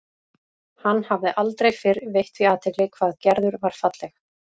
Hann hafði aldrei fyrr veitt því athygli hvað Gerður var falleg.